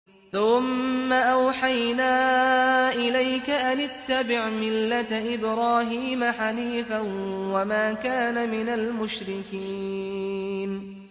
ثُمَّ أَوْحَيْنَا إِلَيْكَ أَنِ اتَّبِعْ مِلَّةَ إِبْرَاهِيمَ حَنِيفًا ۖ وَمَا كَانَ مِنَ الْمُشْرِكِينَ